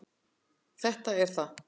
Þetta er það.